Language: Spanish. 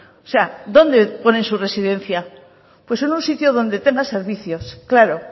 o sea dónde pone su residencia pues es un sitio donde tenga servicios claro